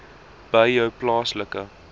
by jou plaaslike